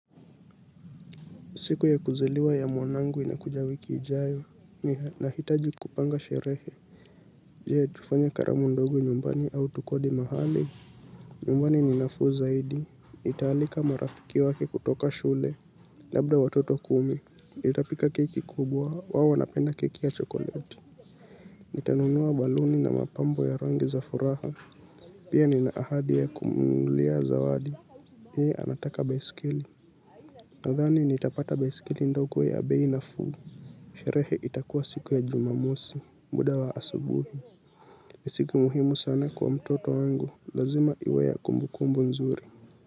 Siku ya kuzaliwa ya mwanangu inakuja wiki ijayo, ninahitaji kupanga sherehe. Je tufanye karamu ndogo nyumbani au tukodi mahali. Nyumbani ni nafuu zaidi nitaalika marafiki wake kutoka shule, labda watoto kumi nitapika keki kubwa, wao wanapenda keki ya chokoleti. Nitanunua baluni na mapambo ya rangi za furaha, pia nina ahadi ya kumnunulia zawadi yeye anataka baiskeli. Nadhani nitapata baiskeli ndogo ya bei nafuu. Sherehe itakuwa siku ya jumamosi muda wa asubuhi. Ni siku muhimu sana kwa mtoto wangu lazima iwe ya kumbukumbu nzuri.